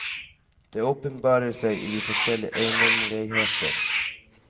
Det åpenbarer seg i de forskjellige eiendommeligheter.